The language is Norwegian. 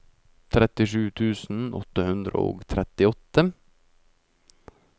trettisju tusen åtte hundre og trettiåtte